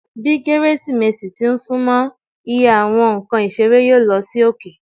Bi Keresimesi ti n sunmọ, iye owo Awọn nkan isere yoo lo sí oke.